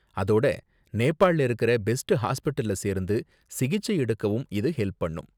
அதோட, நேபாள்ல இருக்குற பெஸ்ட் ஹாஸ்பிடல்ல சேர்ந்து சிகிச்சை எடுக்கவும் இது ஹெல்ப் பண்ணும்.